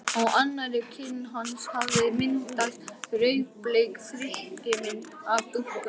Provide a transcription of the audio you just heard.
Á annarri kinn hans hafði myndast rauðbleik þrykkimynd af dúknum.